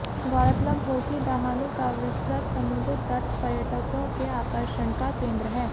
गौरतलब हो कि दहानू का विस्तृत समुद्र तट पर्यटकों के आकर्षण का केंद्र है